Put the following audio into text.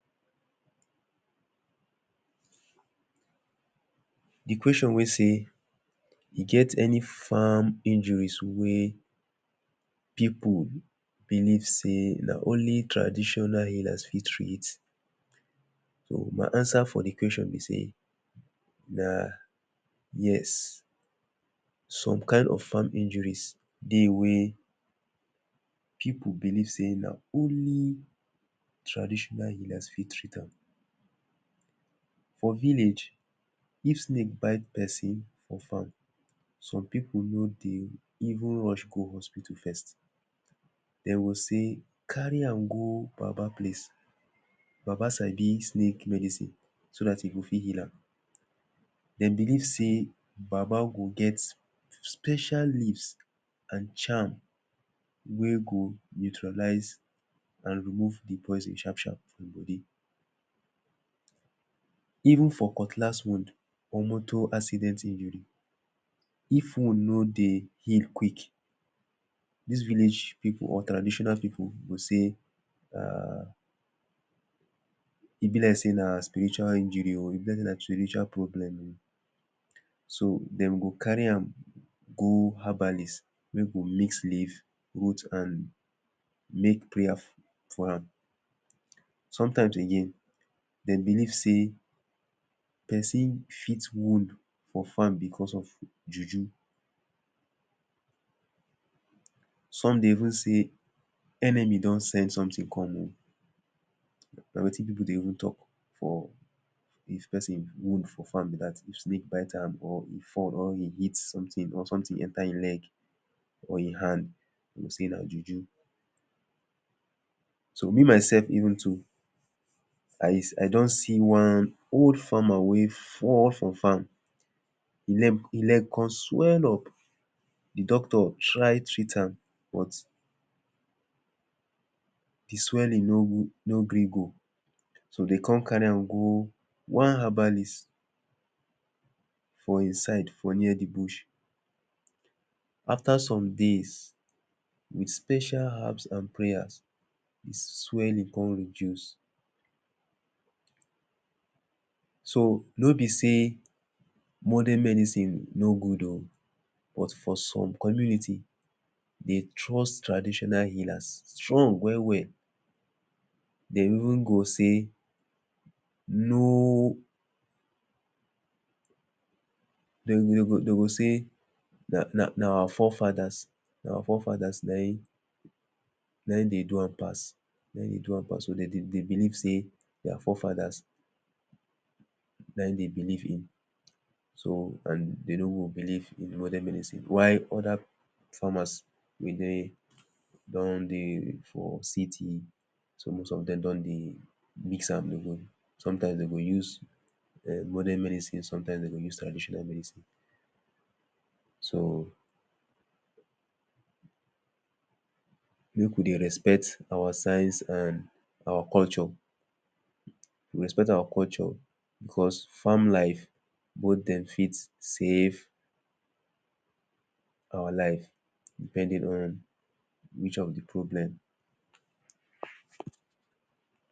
De question wey sey he gets any farm injuries pipu believe sey na only traditional healers fit treat am. my answer for de question be say na yes some kind of farm injuries dey wey pipu believe sey na only traditional healers fit treat am for village. if snake bite person for farm some pipu no dey even rush go hospitals. first dem go sey carry am go Baba place baba sabi snake medicine so that he go fit heal am. dem believe sey baba go get special leaves and charm wey go neutralise and remove de poison sharp sharp for im body even for cutlass wound or motor accident in of wound no dey heal quick dis village pipu or traditional pipu go sey um e be like sey na spiritual injury oh. e be like spiritual problems so dem go carry am go herbalist make dem mix leaf roots and make prayer for am sometimes dem believe person fit wound on farm because of JuJu some dey even sey enemy don set something for me na wetin pipu dey even talk for if person wound for farm be that if snake bite am or e fall or e hit something or something enter im leg or im hand dem go sey na Juju so me myself even too like this. I just see one old farmer wey fall for farm im leg come swell up de doctor try treat am but de swelling no gree go. so dey come carry am go one herbalist for im side for near de bush after some days with special herbs and prayers de swelling come reduce so no be sey modern medicine no good oh but for some community, dey trust traditional healers strong well well. dem even go sey no dem go dem go sey that that na our forefather na our fore fathers na im dey do am pass, dem dey do am pass oh. dem believe sey their forefathers na im dem believe in so and dem no go believe modern medicine. why other farmers wey dey don dey for city so most of dem don dey mix am sometimes dem go use um modern medicine sometimes dem go use traditional medicine. so pipu dey respect our science and culture we respect our culture because farm life both dem fit save out life depending on which of de problem.